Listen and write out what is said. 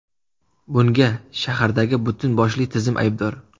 Bunga shahardagi butun boshli tizim aybdor!